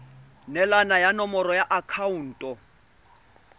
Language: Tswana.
neelana ka nomoro ya akhaonto